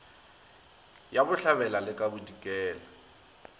ya bohlabela le ka bodikela